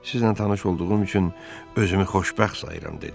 "Sizlə tanış olduğum üçün özümü xoşbəxt sayıram" dedi.